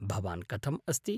भवान् कथम् अस्ति?